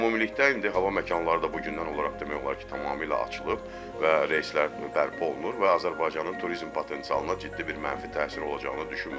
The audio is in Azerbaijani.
Amma ümumilikdə indi hava məkanları da bu gündən olaraq demək olar ki, tamamilə açılıb və reyslər bərpa olunur və Azərbaycanın turizm potensialına ciddi bir mənfi təsir olacağını düşünmürəm.